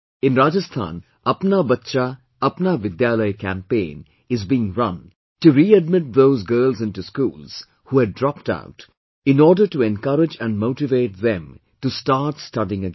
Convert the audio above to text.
In Rajasthan 'Apna Bachcha, Apna Vidyalaya' campaign is being run to readmit those girls into schools, who had dropped out, in order to encourage and motivate them to start studying again